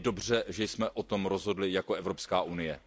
Je dobře, že jsme o tom rozhodli jako Evropská unie.